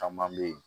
Caman be ye